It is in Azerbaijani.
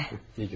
Güle güle.